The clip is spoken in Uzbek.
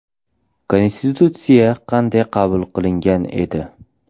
Konstitutsiya qanday qabul qilingan edi?